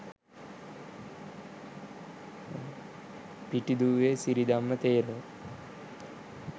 pitiduwe siridhamma thero